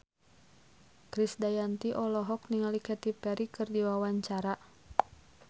Krisdayanti olohok ningali Katy Perry keur diwawancara